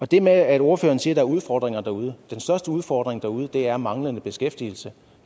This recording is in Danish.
det med at ordføreren siger er udfordringer derude den største udfordring derude er manglende beskæftigelse